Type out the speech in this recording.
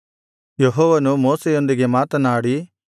ಯೆಹೋವನು ಮೋಶೆಯೊಂದಿಗೆ ಮಾತನಾಡಿ